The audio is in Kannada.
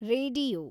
ರೇಡಿಯೋ